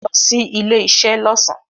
Lo sí ilé isé lọ́sàn